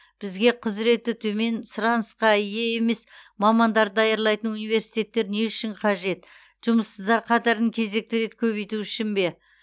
бізге құзыреті төмен сұранысқа ие емес мамандарды даярлайтын университеттер не үшін қажет жұмыссыздар қатарын кезекті рет көбейту үшін бе